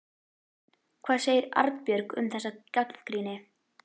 Hvað segir Arnbjörg um þessa gagnrýni?